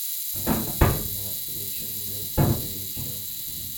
футбольная встреча ливерпуля и челси